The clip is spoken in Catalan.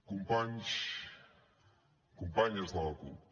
companys companyes de la cup